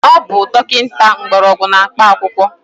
Ọ bụ dọkịta Mgbọrọgwụ na mkpa akwụkwọ